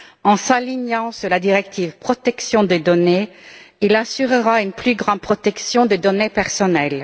En s'alignant sur la directive sur la protection des données, il assurera une plus grande protection des données personnelles.